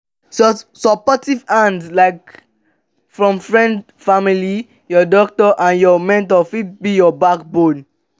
supportive hand like from friends family your doctor and your mentor fit be your backbone.